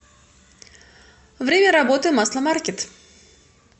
время работы масломаркет